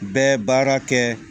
Bɛ baara kɛ